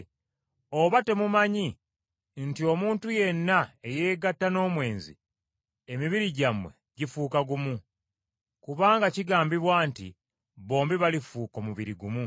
Oba temumanyi nti omuntu yenna eyeegatta n’omwenzi, emibiri gyammwe gifuuka gumu? Kubanga kigambibwa nti, “Bombi balifuuka omubiri gumu.”